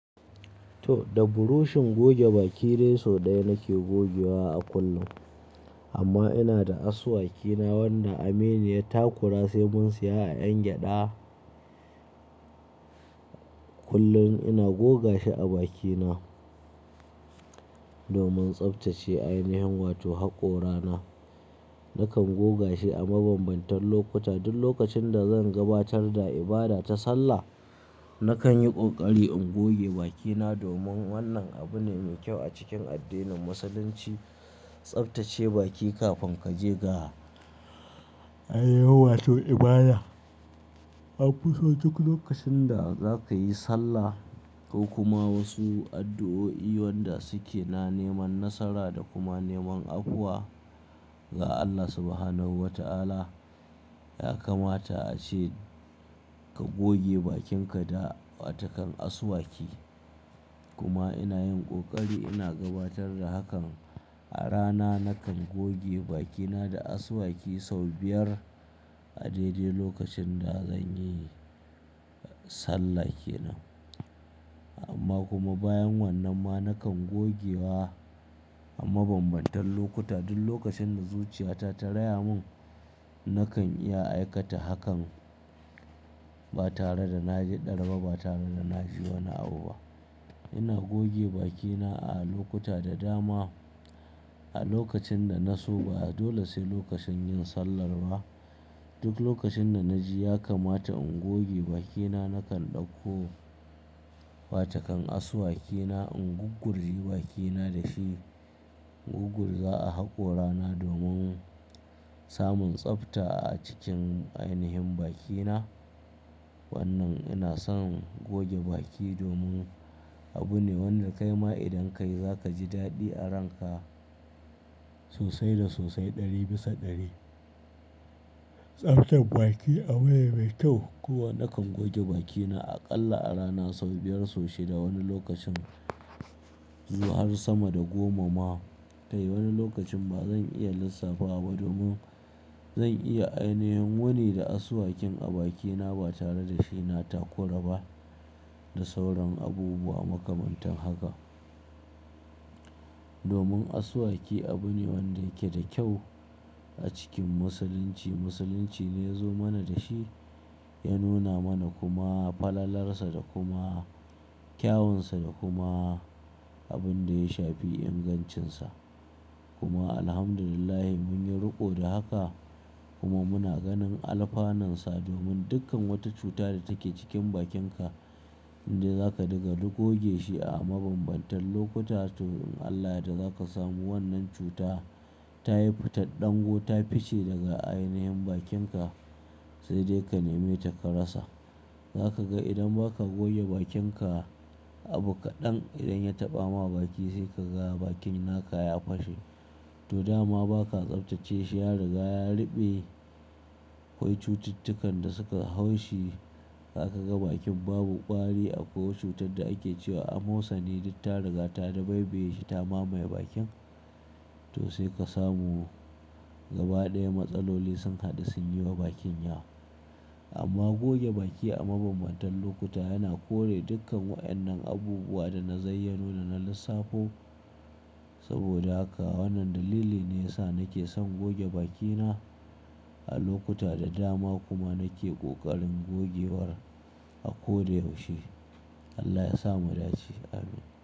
To, da burushin goge baki dai so ɗaya nake gogewa a kullum. Amma ina da asuwaki na wanda Aminu ya ta kura sai mun saya a 'yan gyada. Kullun ina goga shi a bakina domin tsaftace ainihin wato haƙorana. Nakan goga shi a mabambantan lokuta duk lokacin da zan gabatar da ibada ta sallah, nakan yi ƙoƙari in goge bakina domin wannan abu ne mai kyau a cikin addinin Musulunci, tsaftace baki kafin ka je ga ainahin wato ibada. A kuma duk lokacin da za ka yi sallah ko kuma wasu addu'o'i wanda suke na neman nasara da kuma neman afuwa ga Allah Subhanahu wa ta'ala, ya kamata a ce ka goge bakinka da watakan asuwaki. Kuma ina yin kokari ina gabatar da hakan a rana nakan goge bakina da asuwaki sau biyar a daidai lokacin da zan yi salla kenan. Amma kuma bayan wannan ma nakan gogewa a mabambantan lokuta duk lokacin da zuciyata ta raya mun nakan iya aikata hakan ba tare da na ji dar ba tare da na ji wani abu ba. Ina goge bakina a lokuta da dama a lokacin da na so ba dole sai lokacin yin sallar ba. Duk lokacin da na ji ya kamata in goge bakina nakan ɗauko watakan asuwakina in guggurji bakina da shi. In guggurza a haƙorana domin samun tsafta a cikin ainihin bakina. Wannan ina son goge baki domin abu ne wanda kai ma idan ka yi za ka ji daɗi a ranka sosai da sosai ɗari bisa ɗari. Tsaftar baki abune mai kyau kuma nakan goge bakina aƙalla a rana sau biyar so shida wani lokacin zuwa har sama da goma ma. Kai wani lokacin ba zan iya lissafawa ba domin zan iya ainihin wuni da asuwakin a bakina ba tare da shi na takura ba da sauran abubuwa makamantan haka. Domin asuwaki abu ne wanda yake da kyau a cikin Musulunci. Musulunci ne ya zo mana da shi, ya nuna mana kuma falalarsa da kuma kyawunsa da kuma abin da ya shafi ingancinsa. Kuma Alhamdulillah mun yi riko da haka kuma muna ganin alfanansa domin dukkan wata cuta da take cikin bakinka indai za ka dinga duk goge shi a mabambantan lokuta toh in Allah ya yadda za ka samu wannan cuta ta yi fitar ɗan go ta fice daga ainihin bakinka sai dai ka neme ta ka rasa. Za ka ga idan ba ka goge bakinka abu kaɗan idan ya taɓa ma baki sai ka ga bakin naka ya fashe. To dama ba ka tsaftace shi ya riga ya ruɓe. Akwai cututtukan da suka hau shi, aka ga bakin babu ƙwari akwai wata cutar da ake cewa amosani duk ta riga ta dabaibaye shi ta mamaye bakin. To sai ka samu gaba ɗaya matsaloli sun haɗu sun yi wa bakin yawa. Amma goge baki a mabambantan lokuta yana kore dukkan wa'annan abubuwa da na zayyanona na lissafu. Saboda haka wannan dalili ne ya sa nake son goge bakina a lokuta da dama kuma nake ƙoƙarin gogewar a ko da yaushe. Allah ya sa mu da ce, Amin.